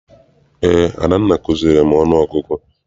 Eé, Adanna kuziere m ọnụ ọgụgụ.